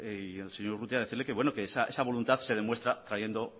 y al señor urrutia decirle que bueno que esa voluntad se demuestra trayendo